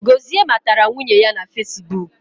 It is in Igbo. Gozie matara nwunye ya na fesibuk